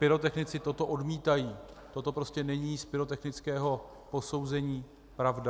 Pyrotechnici toto odmítají, toto prostě není z pyrotechnického posouzení pravda.